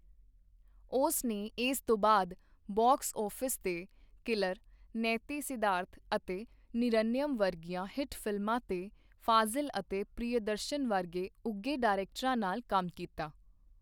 ਉਸ ਨੇ ਇਸ ਤੋਂ ਬਾਅਦ ਬਾਕਸ ਆਫਿਸ ਤੇ 'ਕਿਲਰ' , 'ਨੇਤੀ ਸਿਧਾਰਥ' ਅਤੇ 'ਨਿਰਨਯਮ' ਵਰਗੀਆਂ ਹਿੱਟ ਫਿਲਮਾਂ ਤੇ ਫਾਜ਼ੀਲ ਅਤੇ ਪ੍ਰਿਯਦਰਸ਼ਨ ਵਰਗੇ ਉੱਘੇ ਡਾਇਰੈਕਟਰਾਂ ਨਾਲ ਕੰਮ ਕੀਤਾ।